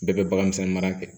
Bɛɛ bɛ bagan misɛnnin mara kɛ